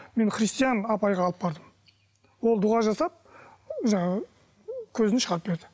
мен христиан апайға алып бардым ол дұға жасап жаңағы көзін шығарып берді